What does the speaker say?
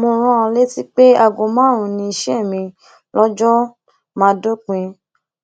mo rán an létí pé aago márùnún ni iṣẹ mi lóòjọ máa dópin